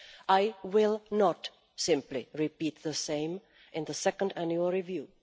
I will not simply repeat the same in the second annual review.